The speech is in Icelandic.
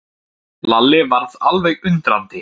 Lalli varð alveg undrandi.